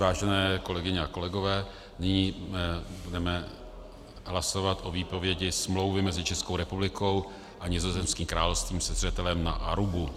Vážené kolegyně a kolegové, nyní budeme hlasovat o výpovědi smlouvy mezi Českou republikou a Nizozemským královstvím se zřetelem na Arubu.